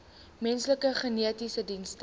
menslike genetiese dienste